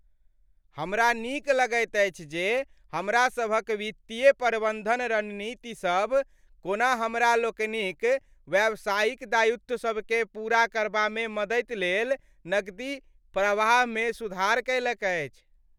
हमरा नीक लगैत अछि जे हमरा सभक वित्तीय प्रबन्धन रणनीतिसभ कोना हमरा लोकनिक व्यावसायिक दायित्वसभकेँ पूरा करबामे मदति लेल नकदी प्रवाहमे सुधार कएलक अछि।